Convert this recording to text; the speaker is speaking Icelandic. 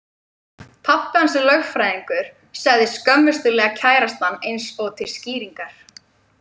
Pabbi hans er lögfræðingur, sagði skömmustulega kærastan eins og til skýringar.